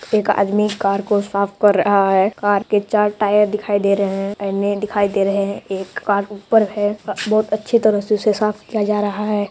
एक आदमी कार को साफ कर रहा है कार के चार टायर दिखाई दे रहे हैं आईने दिखाई दे रहे हैं एक कार ऊपर है बहुत अच्छे तरह से उसे साफ किया जा रहा है।